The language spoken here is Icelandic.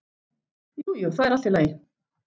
Jú, jú, það er allt í lagi.